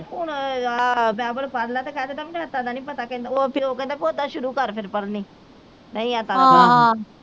ਹੁਣ ਆਹ ਬਾਈਬਲ ਪੜਲਾ ਤੇ ਕਹਿ ਦਿੰਦਾ ਮੈਨੂੰ ਐਤਾ ਦਾ ਨਹੀਂ ਪਤਾ ਉਹ ਫਿਰ ਉਹ ਕਹਿੰਦਾ ਕੇ ਓਦਾਂ ਸ਼ੁਰੂ ਕਰ ਫਿਰ ਪੜਨੀ ਨਹੀਂ ਐਤਾ ਦਾ ਪਤਾ